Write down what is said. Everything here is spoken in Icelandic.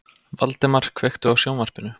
Valdemar, kveiktu á sjónvarpinu.